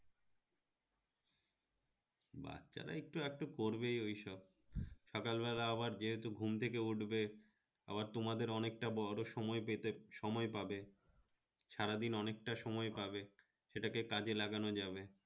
বাচ্চারা একটু আধটু করবেই ঐসব সকাল বেলা আবার যেহেতু ঘুম থেকে উঠবে আবার তোমাদের অনেকটা বড় সময় পেতে সময় পাবে সারাদিন অনেকটা সময় পাবে সেটাকে কাজে লাগানো যাবে